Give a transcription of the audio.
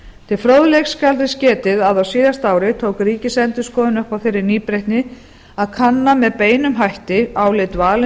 til fróðleiks skal þess getið að á síðasta ári tók ríkisendurskoðun upp á þeirri nýbreytni að kanna með beinum hætti álit